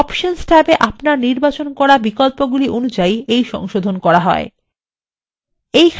এই সংশোধণ options ট্যাবে আপনার নির্বাচন করা বিকল্পগুলি অনুযায়ী করা হয়